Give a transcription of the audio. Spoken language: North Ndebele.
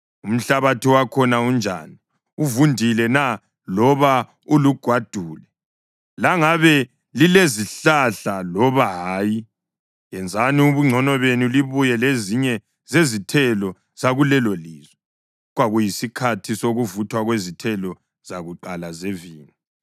Umhlabathi wakhona unjani? Uvundile na loba ulugwadule? Langabe lilezihlahla loba hayi? Yenzani ubungcono benu libuye lezinye zezithelo zakulelolizwe.” (Kwakuyisikhathi sokuvuthwa kwezithelo zakuqala zevini.)